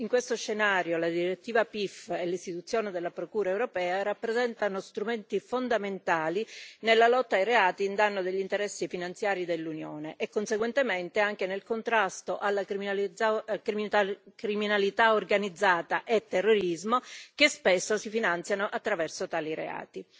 In questo scenario, la direttiva PIF e l'istituzione della Procura europea rappresentano strumenti fondamentali nella lotta ai reati a danno degli interessi finanziari dell'Unione e conseguentemente anche nel contrasto alla criminalità organizzata e al terrorismo, che spesso si finanziano attraverso tali reati.